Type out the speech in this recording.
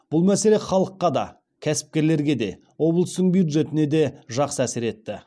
бұл мәселе халыққа да кәсіпкерлерге де облыстың бюджетіне де жақсы әсер етті